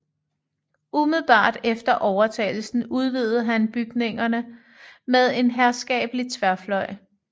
Umiddelbart efter overtagelsen udvidede han bygningerne med en herskabelig tværfløj